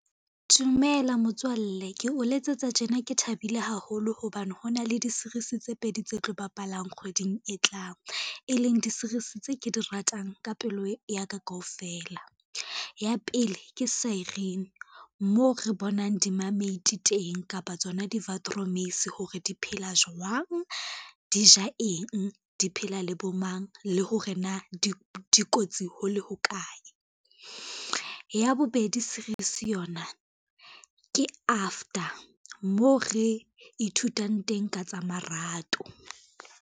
Dumela motswalle ke o letsetsa tjena, ke thabile haholo hobane ho na le di-series tse pedi tse tlo bapalang kgweding e tlang, e leng di-series tse ke di ratang ka pelo ya ka kaofela. Ya pele ke Seiren, moo re bonang di-mermaid teng kapa tsona di-watermeisie hore di phela jwang, di ja eng, di phela le bo mang, le hore na dikotsi ho le hokae. Ya bobedi series yona ke After, mo re ithutang teng ka tsa marato.